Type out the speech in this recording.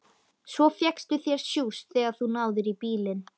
Svo fékkstu þér sjúss þegar þú náðir í bílinn.